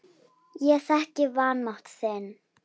Ég þekki vanmátt þinn.